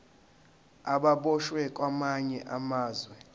ababoshwe kwamanye amazwe